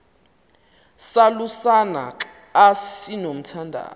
salusana xa sinomthandazo